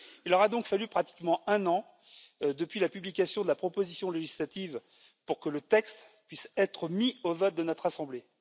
Il aura donc fallu pratiquement un an, depuis la publication de la proposition législative, pour que le texte puisse être mis aux voix dans notre assemblée.